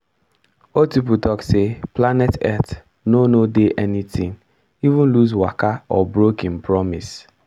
old people talk say planet earth no no dey anytin even loose waka or brokim promis